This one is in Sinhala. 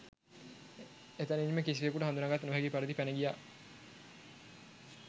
එතැනින්ම කිසිවෙකුට හඳුනාගත නොහැකි පරිදි පැන ගියා